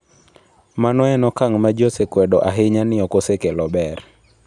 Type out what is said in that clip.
Mano en okang ' ma ji osekwedo ahinya ni ok osekelo ber.